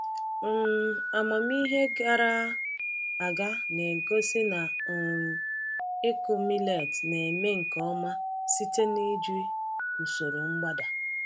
um Amamihe gara aga na-egosi na um ịkụ millet na-eme nke ọma site n’iji usoro mgbada.